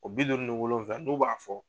O bi duuru ni wolonfila n'o b'a fɔ